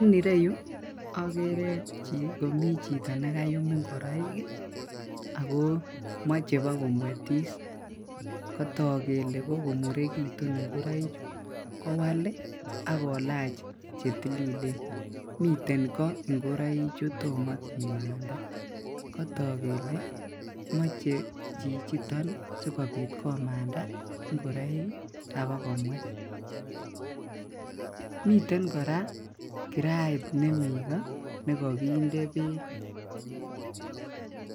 En ireyuu okere komii chito nekaiyum ingoroik kii ako moche bokomuetis kotok kele kokomurekitun ingoruichu kowal lii ak kolach che tililen, miten koo ingoroichu tomo kimanda kotok kele moche chichiton sikobit komanda ngoroik kii abakomuet. Miten koraa kirait nemii koo nekokinde beek.